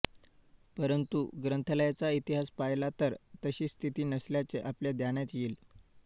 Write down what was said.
परंतु ग्रंथालयांचा इतिहास पाहिला तर तशी स्थिती नसल्याचे आपल्या ध्यानात येईल